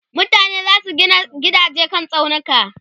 mutane zasu Gina gidaje kan tsaunuka